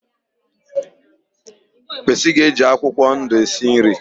Pesi ga-eje akwụkwọ ndụ esi nri